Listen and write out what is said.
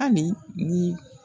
Ani ni